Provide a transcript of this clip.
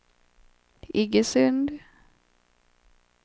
Iggesund